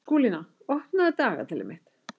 Skúlína, opnaðu dagatalið mitt.